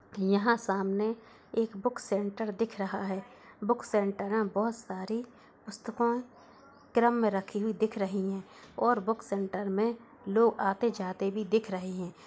यहां सामने एक बुक सेंटर दिख रहा है बुक सेंटर में बहोत सारी पुस्तकों क्रम में रखे हुए दिख रही है और बुक सेंटर में लोग आते-जाते भी दिख रहे हैं।